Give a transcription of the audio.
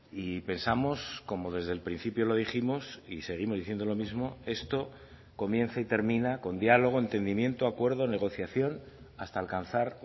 y pensamos como desde el principio lo dijimos y seguimos diciendo lo mismo esto comienza y termina con diálogo entendimiento acuerdo negociación hasta alcanzar